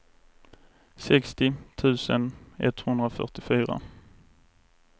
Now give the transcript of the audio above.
sextio tusen etthundrafyrtiofyra